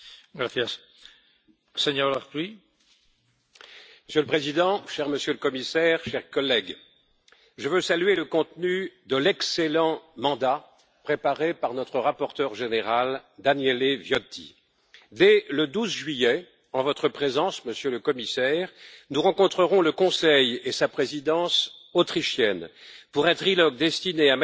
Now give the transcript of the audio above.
Monsieur le Président, cher Monsieur le Commissaire, chers collègues, je veux saluer le contenu de l'excellent mandat préparé par notre rapporteur général Daniele Viotti. Dès le 12 juillet, en votre présence, Monsieur le Commissaire, nous rencontrerons le Conseil et sa présidence autrichienne pour un trilogue destiné à mettre en évidence nos priorités, notre méthode et notre agenda.